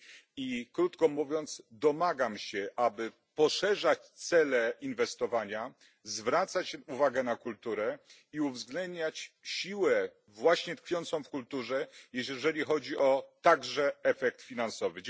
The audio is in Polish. I krótko mówiąc, domagam się, aby poszerzać cele inwestowania, zwracać uwagę na kulturę i uwzględniać siłę właśnie tkwiącą w kulturze, jeżeli chodzi o, także, efekt finansowy.